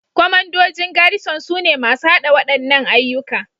Kwamandojin Garrison sune masu haɗa waɗannan ayyuka